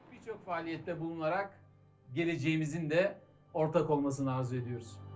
Bir çox fəaliyyətdə bulunaraq gələcəyimizdə ortaq olmasını arzu edirik.